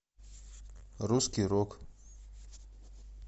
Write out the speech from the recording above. русский рок